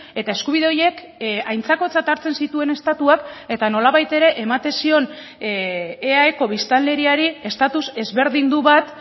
eta eskubide horiek aintzakotzat hartzen zituen estatuak eta nolabait ere ematen zion eaeko biztanleriari estatus ezberdindu bat